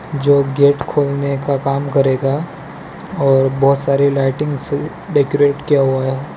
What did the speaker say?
जो गेट खोलने का काम करेगा और बहोत सारे लाइटिंग से डेकोरेट किया हुवा है।